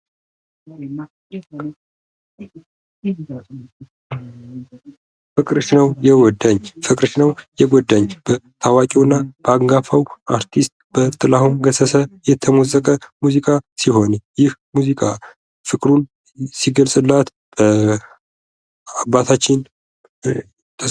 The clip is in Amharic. ፍቅርሽ ነው የጎዳኝ ፦ ፍቅርሽ ነው የጎዳኝ በታዋቂ አርቲስት በጥላሁን ገሰሰ የተሞዘቀ ሙዚቃ ሲሆን ይህም ሙዚቃ ፍቅሩን ሲገልጽላት በአባታችን ...